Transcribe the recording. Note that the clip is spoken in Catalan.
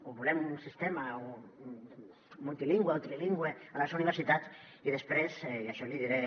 o volem un sistema multilingüe o trilingüe a les universitats i després i això li diré